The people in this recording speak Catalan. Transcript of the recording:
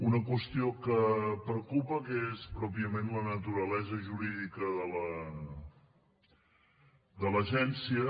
una qüestió que preocupa és pròpiament la naturalesa jurídica de l’agència